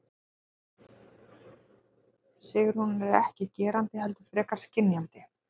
Sigrún er ekki gerandi heldur frekar skynjandi.